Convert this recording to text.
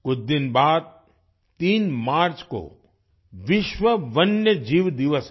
कुछ दिन बाद 3 मार्च को विश्व वन्य जीव दिवस है